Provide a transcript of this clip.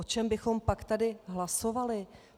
O čem bychom pak tady hlasovali?